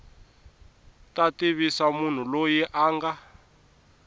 ta tivisa munhu loyi a